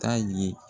Taa ye